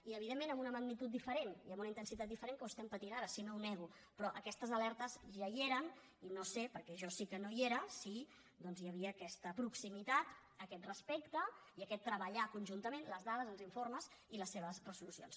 i evidentment amb una magnitud diferent i amb una intensitat diferent amb què ho estem patint ara si no ho nego però aquestes alertes ja hi eren i no sé perquè jo sí que no hi era si hi havia aquesta proximitat aquest respecte i aquest treballar conjuntament les dades els informes i les seves resolucions